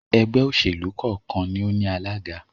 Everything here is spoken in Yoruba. ẹgbẹ́-òsèlú kọ́ọ̀kan ni ó ní alága.